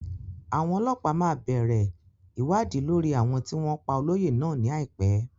Àwọn ọlọ́pàá máa bẹ̀rẹ̀ ìwádìí lórí àwọn tí wọ́n pá olóyè náà ní àìpẹ́.